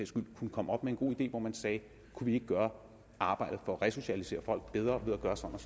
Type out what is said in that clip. skyld kunne komme op med en god idé hvor man sagde kunne vi ikke gøre arbejdet for at resocialisere folk bedre ved at gøre sådan